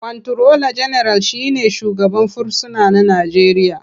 Kwanturola General shi ne shugaban fursuna na Najeriya.